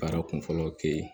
Baara kun fɔlɔ kɛ